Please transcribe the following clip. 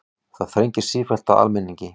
Það þrengir sífellt að almenningi